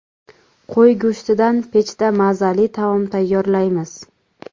Qo‘y go‘shtidan pechda mazali taom tayyorlaymiz.